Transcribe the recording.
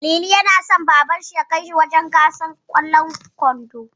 Lili yana so Babansa ya kai shi wajen gasar ƙwallon ƙwando.